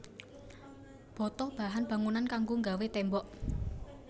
Bata bahan bangunan kanggo nggawé tembok